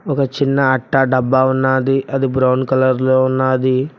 ఓ చిన్న అట్ట డబ్బా ఉన్నాది అది బ్రౌన్ కలర్ లో ఉన్నాది.